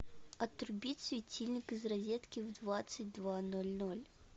отрубить светильник из розетки в двадцать два ноль ноль